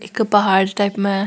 एक पहाड़ टाइप में है।